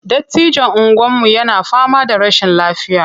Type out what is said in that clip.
Dattijon unguwarmu yana fama da rashin lafiya.